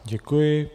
Děkuji.